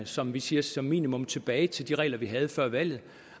som vi siger som minimum tilbage til de regler vi havde før valget